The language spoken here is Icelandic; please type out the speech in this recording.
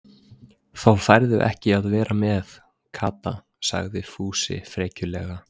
Þá færðu ekki að vera með, Kata sagði Fúsi frekjulega.